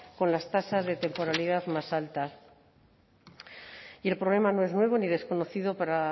con las tasas de temporalidad más alta y el problema no es nuevo ni desconocido para